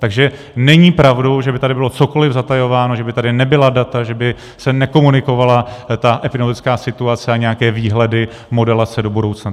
Takže není pravdou, že by tady bylo cokoli zatajováno, že by tady nebyla data, že by se nekomunikovala ta epidemiologická situace a nějaké výhledy, modelace do budoucna.